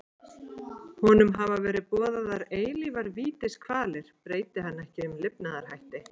Honum hafa verið boðaðar eilífar vítiskvalir breyti hann ekki um lifnaðarhætti.